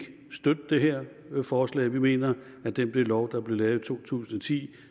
støtte det her forslag vi mener at den lov der blev lavet i to tusind og ti